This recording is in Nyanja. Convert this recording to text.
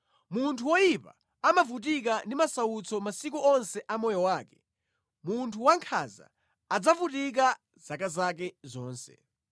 Munthu woyipa amavutika ndi masautso masiku onse a moyo wake, munthu wankhanza adzavutika zaka zake zonse.